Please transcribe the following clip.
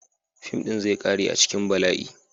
Fim din zai kare a cikin bala'i.